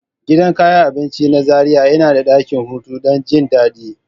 Gidan kayan abinci na Zaria yana da dakin hutu don jin daɗi.